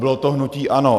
Bylo to hnutí ANO.